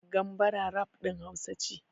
Gambara rap ɗin Hausa ce.